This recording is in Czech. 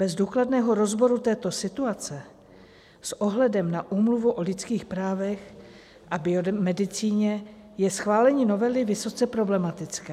Bez důkladného rozboru této situace s ohledem na Úmluvu o lidských právech a biomedicíně je schválení novely vysoce problematické.